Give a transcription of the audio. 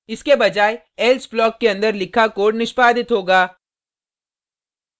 इसके बजाय else block के अंदर लिखा कोड निष्पादित होगा